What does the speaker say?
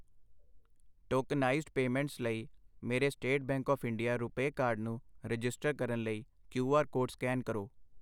tokenized payments ਲਈ ਮੇਰੇ State Bank of India RuPay card ਨੂੰ ਰਜਿਸਟਰ ਕਰਨ ਲਈ ਕਯੂ ਆਰ ਕੋਡ ਸਕੈਨ ਕਰੋ